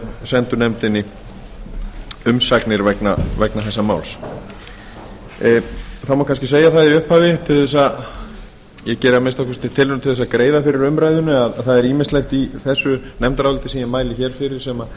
sendu nefndinni umsagnir vegna þessa máls það má kannski segja það í upphafi ég geri að minnsta kosti tilraun til þess að greiða fyrir umræðunni að það er ýmislegt í þessu nefndaráliti sem ég mæli hér fyrir sem